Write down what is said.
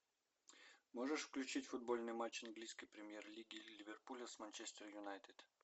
можешь включить футбольный матч английской премьер лиги ливерпуля с манчестер юнайтед